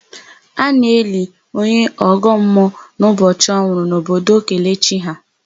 A na-eli onye ọgọmmuọ n'ụbọchị ọ nwụrụ n'obodo Kelechi ha.